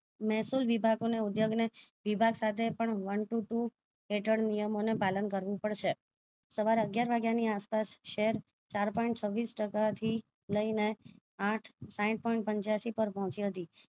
મેહ્સુલ વિભાગો ને ઉદ્યોગ વિભા સાથે પ one to two હેઠળ નિયમો નું પાલન કરવું પડશે સવારે અગ્યાર વાગ્યા ની આસપાસ શહેર ચાર point છવીસ ટકા થી લઈને આંઠ સાહીઠ point પંચયાશીપર પહોચી હતી